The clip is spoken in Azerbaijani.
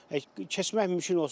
Keçmək mümkün olsun.